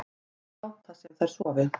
Þær láta sem þær sofi